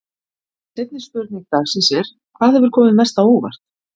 Seinni spurning dagsins er: Hvað hefur komið mest á óvart?